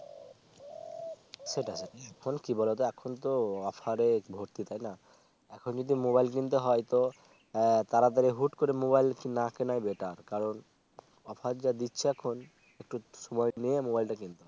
সেটাই এখন কি বলতো এখন তো Offer ভর্তি তাই না এখন যদি Mobile কিনতে হয় তো তাড়াতাড়ি হুট করে না কেনাই Better কারণ Offer যা দিচ্ছে এখন একটু সময় নিয়ে Mobile টা কিনতে হয়